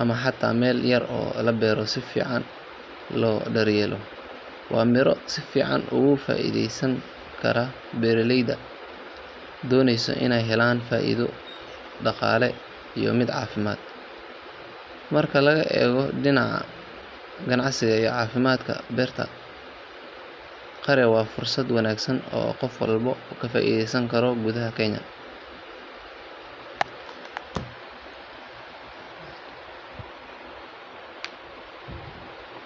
ama xataa meel yar oo la beero si fiican loo daryeelo. Waa miro si fiican uga faa’iidaysan kara beeraleyda doonaysa inay helaan faa’iido dhaqaale iyo mid caafimaad. Marka laga eego dhinacyada ganacsi iyo caafimaadba, beerta qare waa fursad wanaagsan oo qof walba ka faa’iidaysan karo gudaha Kenya.